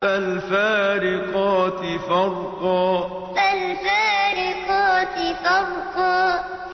فَالْفَارِقَاتِ فَرْقًا فَالْفَارِقَاتِ فَرْقًا